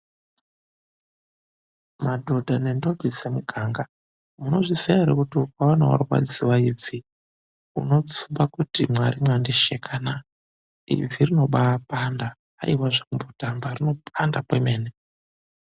Madhodha nentombi dzemuganga, munozviziya ere kuti ukaona warwadziwa ibvi unotsumba kuti Mwari mwandishekana. Ibvi rinombaapanda hayiwa zvekumbotamba ibvi rinopanda kwemene.